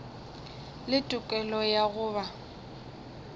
le tokelo ya go ba